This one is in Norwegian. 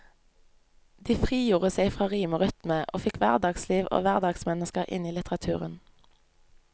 De frigjorde seg fra rim og rytme, og fikk hverdagsliv og hverdagsmennesker inn i litteraturen.